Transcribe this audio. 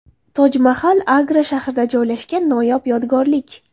Tojmahal – Agra shahrida joylashgan noyob yodgorlik.